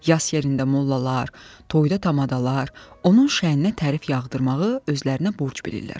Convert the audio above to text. Yas yerində mollalar, toyda tamadalar, onun şəninə tərif yağdırmağı özlərinə borc bilirlər.